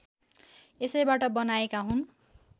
यसैबाट बनाएका हुन्